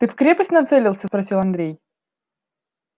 ты в крепость нацелился спросил андрей